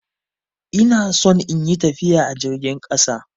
Ina son in yi tafiya a jirgin ƙasa.